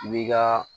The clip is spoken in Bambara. I b'i ka